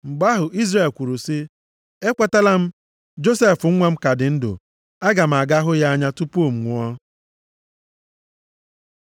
Mgbe ahụ Izrel kwuru sị, “Ekwetala m! Josef nwa m ka dị ndụ. Aga m aga hụ ya anya tupu m nwụọ.”